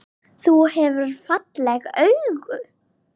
Þú hefur falleg augu.